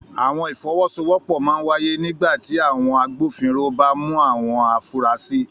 Àwọn ìfọwọ́sowọ́pọ̀ máa ń wáyé nígbà tí àwọn agbófinró bá mú àwọn afurasí.